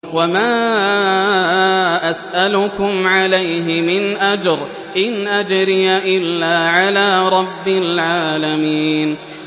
وَمَا أَسْأَلُكُمْ عَلَيْهِ مِنْ أَجْرٍ ۖ إِنْ أَجْرِيَ إِلَّا عَلَىٰ رَبِّ الْعَالَمِينَ